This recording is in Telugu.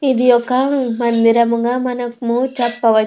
ఇది ఒక మందిరముగా మనము చెప్పవచ్చు.